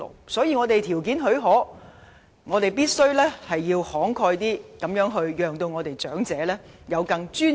所以，既然我們的條件許可，便必須慷慨一點，讓長者活得更有尊嚴。